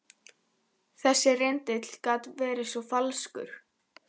Þessi litli rindill gat verið svo falskur.